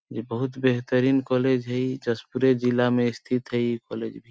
ऐ बहुत बेहतरीन कॉलेज हई जशपूरे जिला में स्थित है इ कॉलेज भी --